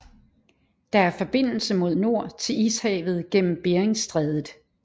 Der er forbindelse mod nord til Ishavet gennem Beringstrædet